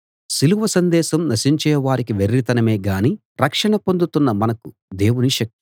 సిలువ సందేశం నశించే వారికి వెర్రితనమే గాని రక్షణ పొందుతున్న మనకు దేవుని శక్తి